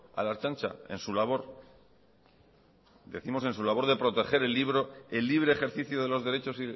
a la ertzaintza en su labor decimos en su labor de proteger el libre ejercicio de los derechos